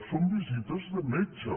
són visites de metge